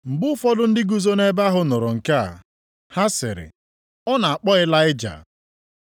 Mgbe ụfọdụ ndị guzo nʼebe ahụ nụrụ nke a, ha sịrị, “Ọ na-akpọ Ịlaịja.”